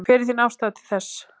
Hver er þín afstaða til þess?